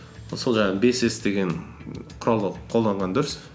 сол жаңағы бес с деген құралды қолданған дұрыс